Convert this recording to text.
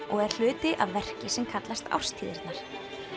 og er hluti af verki sem kallast árstíðirnar